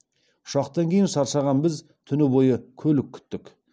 ұшақтан кейін шаршаған біз түні бойы көлік күттік